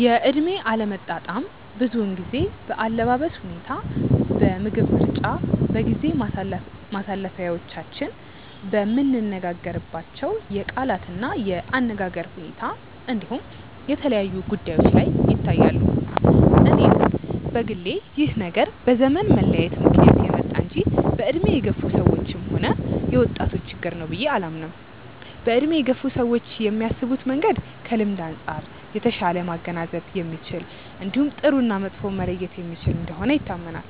የእድሜ አለመጣጣም ብዙውን ጊዜ በአለባበስ ሁኔታ፣ በምግብ ምርጫ፣ በጊዜ ማሳለፊያዎቻችን፣ በምንነጋገርባቸው የቃላት እና የአነጋገር ሁኔታ እንዲሁም የተለያዩ ጉዳዮች ላይ ይታያሉ። እኔም በግሌ ይህ ነገር በዘመን መለያየት ምክንያት የመጣ እንጂ በእድሜ የገፋ ሰዎችም ሆነ የወጣቶች ችግር ነው ብዬ አላምንም። በእድሜ የገፉ ሰዎች የሚያስቡበት መንገድ ከልምድ አንጻር የተሻለ ማገናዘብ የሚችል እንዲሁም ጥሩ እና መጥፎውን መለየት የሚችል እንደሆነ ይታመናል።